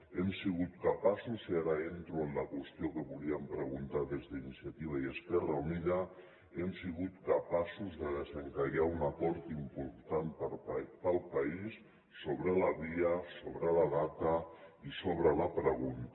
hem sigut capaços i ara entro en la qüestió que volíem preguntar des d’iniciativa i esquerra unida de desencallar un acord important per al país sobre la via sobre la data i sobre la pregunta